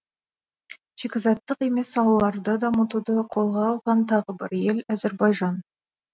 шикізаттық емес салаларды дамытуды қолға алған тағы бір ел әзербайжан